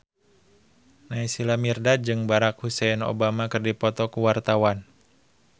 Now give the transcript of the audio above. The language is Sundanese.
Naysila Mirdad jeung Barack Hussein Obama keur dipoto ku wartawan